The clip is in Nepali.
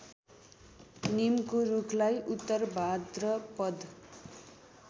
निमको रूखलाई उत्तरभाद्रपद